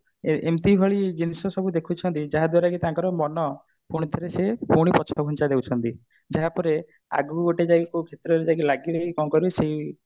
ଏ ଏମତି ଭଳି ଜିନିଷ ସବୁ ଦେଖୁଛନ୍ତି ଯାହା ଦ୍ଵାରା କି ତାଙ୍କର ମନ ପୁଣିଥରେ ସେଇ ପୁଣି ପଛଘୁଞ୍ଚା ଦଉଛନ୍ତି ଯାହା ପରେ ଆଗକୁ ଗୋଟିଏ କଣ କରିବୁ ସେଇ